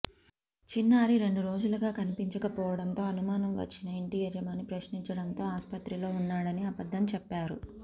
చిన్నారి రెండురోజులుగా కనిపించకపోవడంతో అనుమానం వచ్చిన ఇంటి యజమాని ప్రశ్నించడంతో ఆస్పత్రిలో ఉన్నాడని అబద్ధం చెప్పారు